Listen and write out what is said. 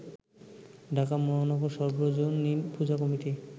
ঢাকা মহানগর সর্বজনীন পূজা কমিটি